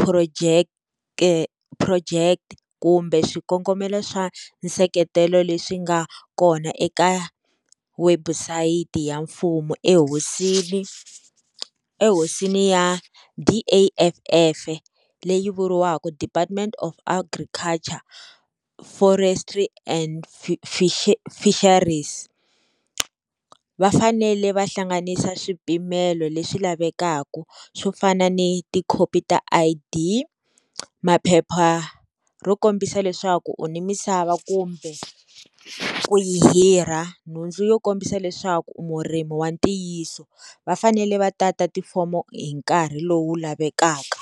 phurojeke phurojeke kumbe swikongomelo swa nseketelo leswi nga kona eka website ya mfumo ehosini ehosini ya D_A_F_F leyi vuriwaka Department of Agriculture Forestry and Fisherie Fisheries va fanele va hlanganisa swipimelo leswi lavekaka swo fana ni tikhopi ta I_D maphepha ro kombisa leswaku u ni misava kumbe ku yi hirha nhundzu yo kombisa leswaku u murimi wa ntiyiso va fanele va tata tifomo hi nkarhi lowu lavekaka.